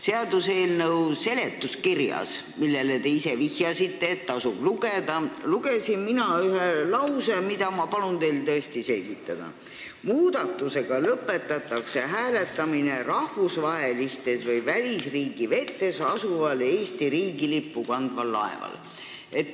Seaduseelnõu seletuskirjast – te vihjasite, et seda tasub lugeda – lugesin mina ühe lause, mida ma palun teil tõesti selgitada: "Muudatusega lõpetatakse hääletamine rahvusvahelistes või välisriigi vetes asuval Eesti riigilippu kandval laeval.